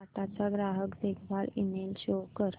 टाटा चा ग्राहक देखभाल ईमेल शो कर